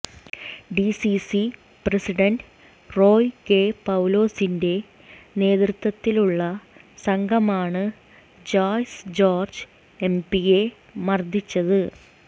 DCC president Roy K പൌലോസിന്റെ നേതൃത്വത്തിലുള്ള സംഘമാണ് ജോയ്സ് ജോര്ജ് എംപിയെ മര്ദിച്ചത്